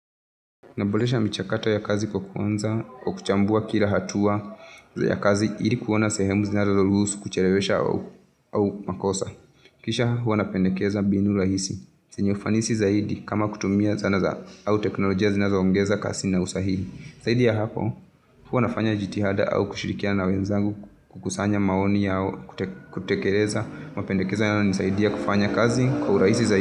Nabolesha michakato ya kazi kwa kuanza, kwa kuchambua kila hatua, ya kazi ili kuona sehemu zinazo luhusu kuchereweza au makosa. Kisha hua na pendakeza mbinu rahisi. Yenye ufanisi zahidi kama kutumia zana za au teknolojia zinazo ongeza kasi na usahi. Zaidi ya hapo huwa nafanya jitihada au kushirikiana na wenzangu, kukusanya maoni yao, kutekereza. Mapendekezo yao hunisaidia kufanya kazi kwa urahisi.